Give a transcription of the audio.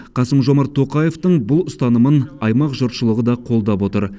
қасым жомарт тоқаевтың бұл ұстанымын аймақ жұртшылығы да қолдап отыр